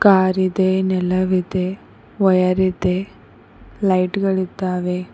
ಕಾರಿದೆ ನೆಲವಿದೆ ವಯರ್ ಇದೆ ಲೈಟ್ ಗಳಿದ್ದಾವೆ.